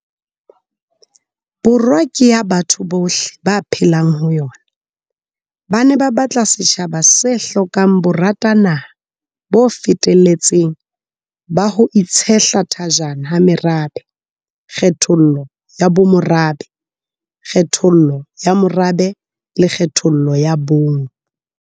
Borwa ke ya batho bohle ba phelang ho yona, ba ne ba batla setjhaba se hlokang boratanaha bo feteletseng ba ho itshehla thajana ha merabe, kgethollo ya bomorabe, kgethollo ya morabe le kgethollo ya bong.